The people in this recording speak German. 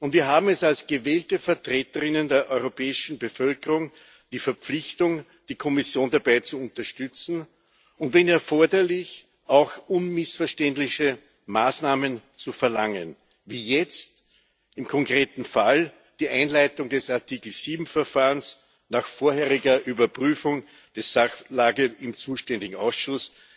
Wir haben als gewählte Vertreterinnen und Vertreter der europäischen Bevölkerung die Verpflichtung, die Kommission dabei zu unterstützen und, wenn erforderlich, auch unmissverständliche Maßnahmen zu verlangen wie jetzt im konkreten Fall die Einleitung des Artikel 7 Verfahrens nach vorheriger Überprüfung der Sachlage im zuständigen Ausschuss.